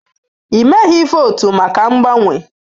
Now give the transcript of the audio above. Ị meghị votu maka mgbanwe.